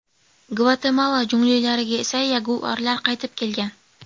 Gvatemala junglilariga esa yaguarlar qaytib kelgan .